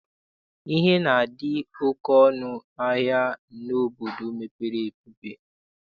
Ihe na-adị oke ọnụ ahịa n'obodo mepere emepe.